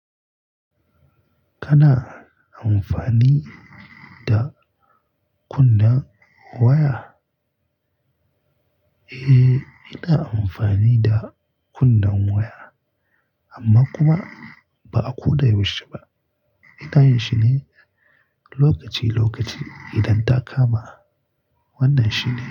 Kana amfani da kunnen waya? Eh, ina amfani da kunnen waya amma kuma ba a koda yaushe ba. Ina yin shi ne lokaci-lokaci idan ta kama. Wannan shi ne.